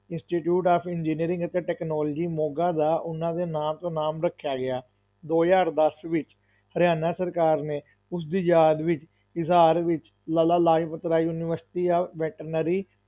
Institute of engineering ਅਤੇ technology Moga ਦਾ ਉਨ੍ਹਾਂ ਦੇ ਨਾਂ ਤੋਂ ਨਾਮ ਰੱਖਿਆ ਗਿਆ, ਦੋ ਹਜ਼ਾਰ ਦਸ ਵਿੱਚ, ਹਰਿਆਣਾ ਸਰਕਾਰ ਨੇ ਉਸਦੀ ਯਾਦ ਵਿੱਚ ਹਿਸਾਰ ਵਿੱਚ Lala Lajpat Rai university of veterinary